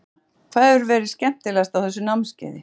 Sunna: Hvað hefur verið skemmtilegast á þessu námskeiði?